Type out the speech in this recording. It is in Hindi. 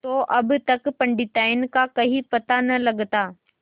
तो अब तक पंडिताइन का कहीं पता न लगता